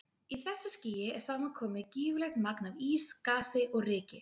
Í þessu skýi er saman komið gífurlegt magn af ís, gasi og ryki.